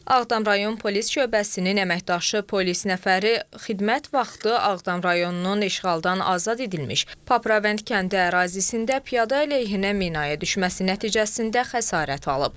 Ağdam rayon Polis şöbəsinin əməkdaşı, polis nəfəri xidmət vaxtı Ağdam rayonunun işğaldan azad edilmiş Papravənd kəndi ərazisində piyada əleyhinə minaya düşməsi nəticəsində xəsarət alıb.